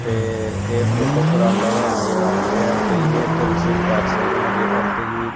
ਤੇ ਇਹ ਫ਼ੋਟੋ ਕਰਾਉਂਦਾ ਹੋਇਆ ਨਜ਼ਰ ਆਂਦੇਆ ਹੈ ਤੁਸੀਂ ਵੀ ਇੱਥੇ ਵਿਸਿਟ ਕਰ ਸੱਕਦੇ ਹਾਂ ਜੇਕਰ ਤੁਸੀਂ--